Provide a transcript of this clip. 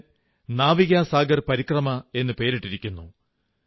ഇതിന് നാവികാ സാഗർ പരിക്രമാ എന്നു പേരിട്ടിരിക്കുന്നു